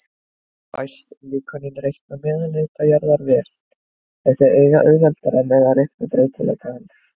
Fæst líkönin reikna meðalhita jarðar vel, en þau eiga auðveldara með að reikna breytileika hans.